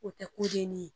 O tɛ kodenni ye